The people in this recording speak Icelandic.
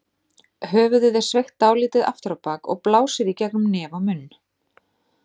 Höfuðið er sveigt dálítið aftur á bak og blásið í gegnum nef og munn.